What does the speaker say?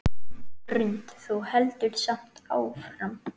Hrund: Þú heldur samt áfram?